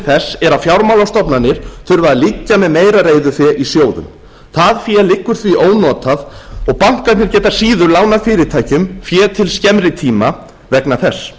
þess er að fjármálastofnanir þurfa að liggja með meira reiðufé í sjóðum það fé liggur því ónotað og bankarnir geta síður lánað fyrirtækjum fé til skemmri tíma vegna þess